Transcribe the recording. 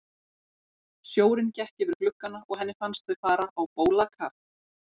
Sjórinn gekk yfir gluggana og henni fannst þau fara á bólakaf.